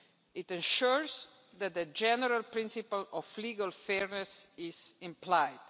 It ensures that the general principle of legal fairness is applied.